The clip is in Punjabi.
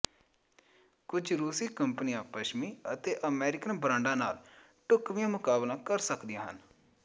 ਕੁਝ ਰੂਸੀ ਕੰਪਨੀਆਂ ਪੱਛਮੀ ਅਤੇ ਅਮਰੀਕਨ ਬ੍ਰਾਂਡਾਂ ਨਾਲ ਢੁਕਵੀਆਂ ਮੁਕਾਬਲਾ ਕਰ ਸਕਦੀਆਂ ਹਨ